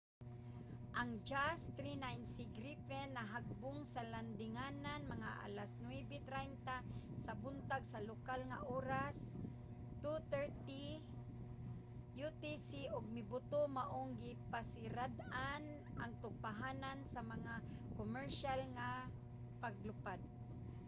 ang jas 39c gripen nahagbong sa landinganan mga alas 9:30 sa buntag sa lokal nga oras 0230 utc ug mibuto maong gipasirad-an ang tugpahanan sa mga komersiyal nga paglupad